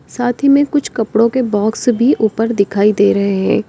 साथी में कुछ कपड़ों के बॉक्स भी ऊपर दिखाई दे रहे हैं।